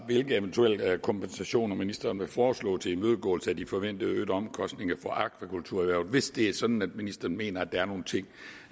hvilke eventuelle kompensationer ministeren vil foreslå til imødegåelse af de forventede øgede omkostninger for akvakulturerhvervet hvis det er sådan at ministeren mener at der er nogle ting